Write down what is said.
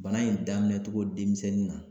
Bana in daminɛ cogo denmisɛnnin na